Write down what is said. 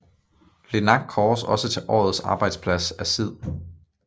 LINAK kåres også til årets arbejdsplads af SID